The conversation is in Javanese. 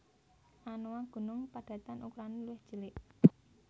Anoa gunung padatan ukurane luwih cilik